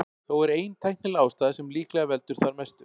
Þó er ein tæknileg ástæða sem líklega veldur þar mestu.